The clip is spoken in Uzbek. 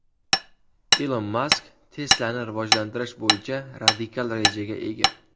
Ilon Mask Tesla’ni rivojlantirish bo‘yicha radikal rejaga ega.